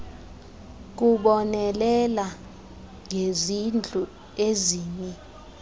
kubonelela ngezindlu ezimi